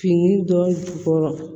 Fini dɔ bɔrɔ